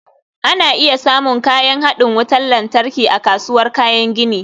Ana iya samun kayan haɗin wutar lantarki a kasuwar kayan gini